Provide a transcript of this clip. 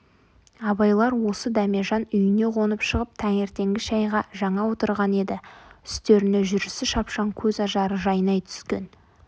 абайлар осы дәмежан үйіне қонып шығып таңертеңгі шайға жаңа отырған еді үстеріне жүрісі шапшаң көз ажары жайнай түскен